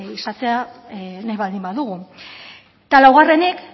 izatea nahi baldin badugu eta laugarrenik